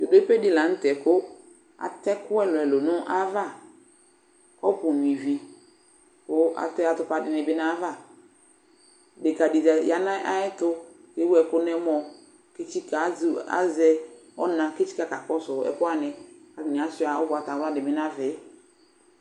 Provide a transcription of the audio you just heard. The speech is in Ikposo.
Zodope de lantɛ ko atɛ ɛku ɛluɛlu nava Kɔpu nyua ivi, ko atp atopa de ne be nava, Edeka de za, ya nayɛto ko ewu ɛko nɛmɔɔEtsika, azɛ ɔna ke tsika ka kɔso ɛku wane Atane asua ugbatawla de be navɛ